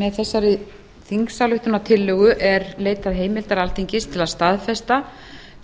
með þessari þingsályktunartillögu er leitað heimildar alþingis til að staðfesta